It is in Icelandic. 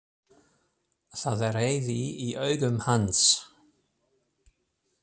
Það er reiði í augum hans.